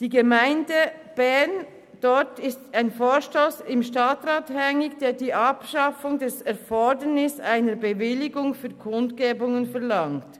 In der Gemeinde Bern ist ein Vorstoss im Stadtrat hängig, welcher die Abschaffung des Erfordernisses einer Bewilligung für Kundgebungen verlangt.